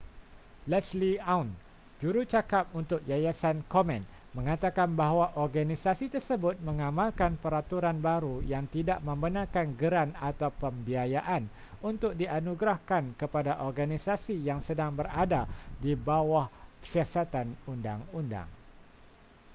leslie aun jjurucakap untuk yayasan komen mengatakan bahawa organisasi tersebut mengamalkan peraturan baru yang tidak membenarkan geran atau pembiayaan untuk dianugerahkan kepada organisasi yang sedang berada di bawah siasatan undang-undang